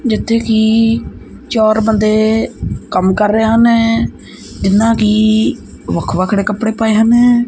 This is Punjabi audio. ਜਿੱਥੇ ਕਿ ਚਾਰ ਬੰਦੇ ਕੰਮ ਕਰ ਰਹੇ ਹਨ ਇਹਨਾਂ ਕੀ ਵੱਖ ਵੱਖਰੇ ਕੱਪੜੇ ਪਾਏ ਹਨ।